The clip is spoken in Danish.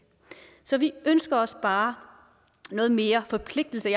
så vi ønsker os bare noget mere forpligtelse